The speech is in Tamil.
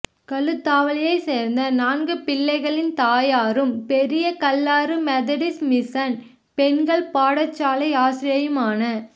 களுதாவளையை சேர்ந்த நான்கு பிள்ளைகளின் தாயாரும் பெரியகல்லாறு மெதடிஸ் மிசன் பெண்கள் பாடசாலை ஆசிரியையுமான